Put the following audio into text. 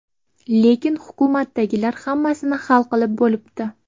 Lekin... hukumatdagilar hammasini hal qilib bo‘libdi.